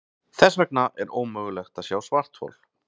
Þess vegna er ómögulegt að sjá svarthol.